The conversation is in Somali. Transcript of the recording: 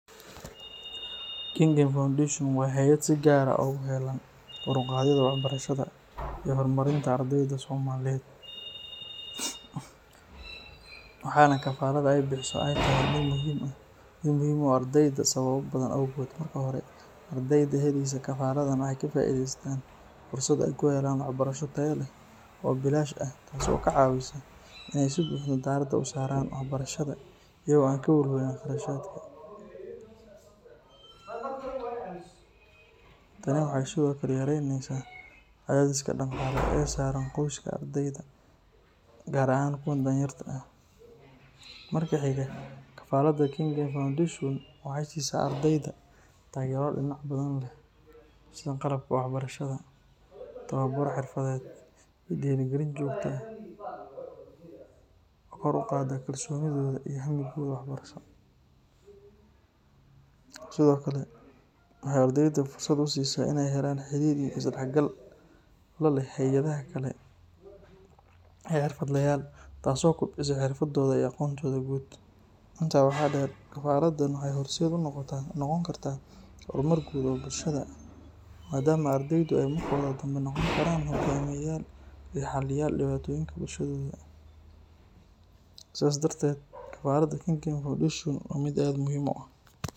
Kengen foundation waa hayaad si gar ah ogu helan kor uqadhida wax barashaada iyo hor marinta ardeyda somaliyeed, waxena kafarada ee qadhi haysa sameysa erdeyda sawabo owgeed marka hore ardeyda waxee ka faidheysatan fursaad ee ku helan oo ee ka faideystan gadashan tas oo ka cawisa si ee wax u saran diraada, tani waxee sithokale yareynesa u xilsaran qoyska ardeyda gar ahan kuwa dalin yarta marka xiga kengen foundation waxee sisa ardeyda tagero badan qalabka wax barashaada ee xirfaaded iyo dira galinta kalsonida sithokale waxee ardeyda fursaad usisa iadax gal laleh xirfadayal taso kordisa xirfadoda iyo aqontodha guud, tasi waxaa der kafaradan waxee horseed unoqta hormar guud oo bulshaada ardeyda iyo xaliyal diwatoyin sas darteed kafarada kengen foundation waa miid aad muhiim u ah.